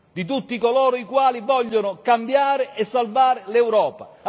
Di tutti coloro i quali vogliono cambiare e salvare l'Europa.